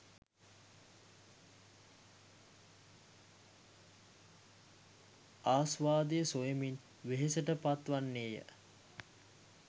ආස්වාදය සොයමින් වෙහෙසට පත්වන්නේය.